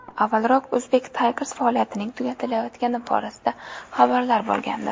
Avvalroq Uzbek Tigers faoliyatining tugatilayotgani borasida xabarlar paydo bo‘lgandi.